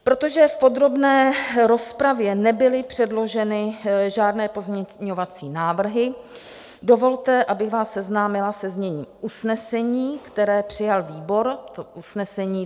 Protože v podrobné rozpravě nebyly předloženy žádné pozměňovací návrhy, dovolte, abych vás seznámila se zněním usnesení, které přijal výbor.